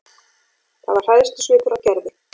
Það var hræðslusvipur á Gerði.